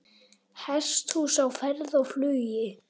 Hesthús á ferð og flugi